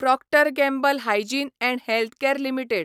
Procter Gamble Hygiene and Health Care limited